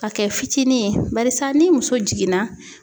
Ka kɛ fitinin ye barisa ni muso jiginna